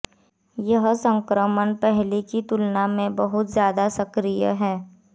यह संक्रमण पहले की तुलना में बहुत ज्यादा सक्रिय है